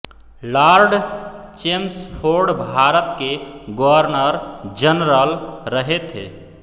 Lord Chelmsford Bharat के governor general रहे थे